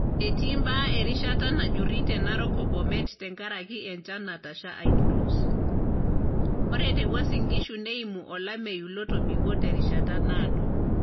Etii imbaa erishata najjuri te narok o Bomet tenkaraki enchan natasha aitulus, ore te Uasin Gishu neimu olameyu lotobiko terishata naado.